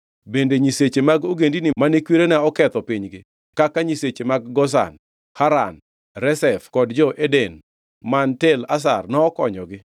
Bende nyiseche mag ogendini mane kwerena oketho pinygi kaka nyiseche mag Gozan, Haran, Rezef kod jo-Eden man Tel Assar nokonyogi?